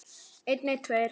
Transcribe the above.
Tjaldið þeirra var hvítt.